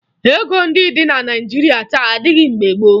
Ego ndị dị na Naịjirịa taa adịghị mgbe gboo